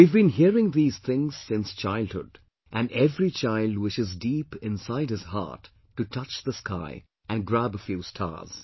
We have been hearing these things since childhood, and every child wishes deep inside his heart to touch the sky and grab a few stars